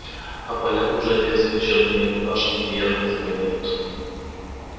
а поля уже резко чернеют пашнями и ярко зеленеют